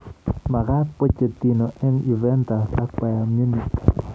Magaat Pochettino eng Juventas ak Bayan Munich